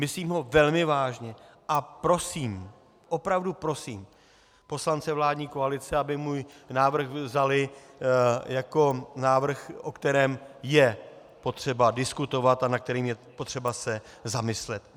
Myslím ho velmi vážně a prosím, opravdu prosím poslance vládní koalice, aby můj návrh vzali jako návrh, o kterém je potřeba diskutovat a nad kterým je potřeba se zamyslet.